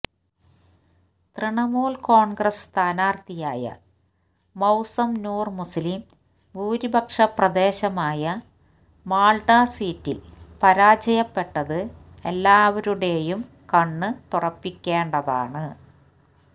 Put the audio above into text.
തൃണമൂൽ കോൺഗ്രസ് സ്ഥാനാർഥിയായ മൌസം നൂർ മുസ്ലിം ഭൂരിപക്ഷ പ്രദേശമായ മാൽഡ സീറ്റിൽ പരാജയപ്പെട്ടത് എല്ലാവരുടേയും കണ്ണുതുറപ്പിക്കേണ്ടതാണ്